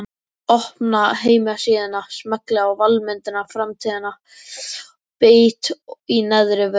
Opna heimasíðuna, smelli á valmyndina Framtíðin, bít í neðrivörina.